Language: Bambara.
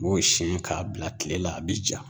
U b'o siyɛn k'a bila tile la, a bɛ ja.